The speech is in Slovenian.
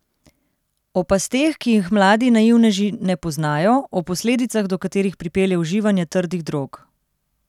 O pasteh, ki jih mladi naivneži ne poznajo, o posledicah do katerih pripelje uživanje trdih drog.